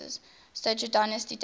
stuart dynasty dating